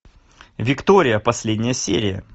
виктория последняя серия